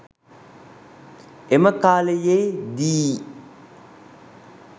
එම කාලයේ දී